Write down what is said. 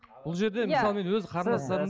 бұл жерде мысалы мен өз қарындастарым